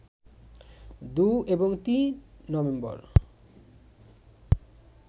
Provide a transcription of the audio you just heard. ২ এবং ৩ নভেম্বর